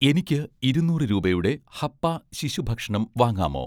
എനിക്ക് ഇരുന്നൂറ് രൂപയുടെ 'ഹപ്പ' ശിശു ഭക്ഷണം വാങ്ങാമോ?